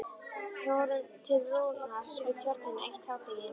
Fórum til Rúnars Við Tjörnina eitt hádegi.